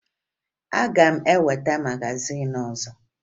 Aga m eweta magazin ọzọ